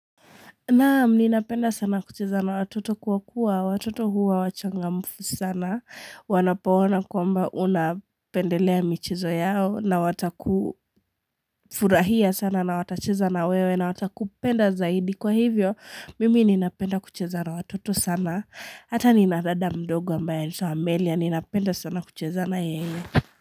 Naam, ninapenda sana kucheza na watoto kwa kuwa, watoto huwa wachangamfu sana, wanapoona kwamba unapendelea michezo yao, na watakufurahia sana na watacheza na wewe na watakupenda zaidi. Kwa hivyo, mimi ninapenda kucheza na watoto sana, hata nina dada mdogo ambaye, anaitwa amelia, ninapenda sana kucheza na yeye.